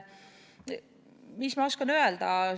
Mis ma oskan öelda?